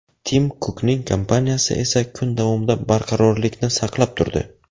Tim Kukning kompaniyasi esa kun davomida barqarorlikni saqlab turdi.